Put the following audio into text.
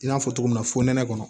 I n'a fɔ cogo min na fo nɛnɛ kɔnɔ